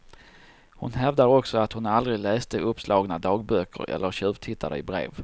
Hon hävdar också att hon aldrig läste uppslagna dagböcker eller tjuvtittade i brev.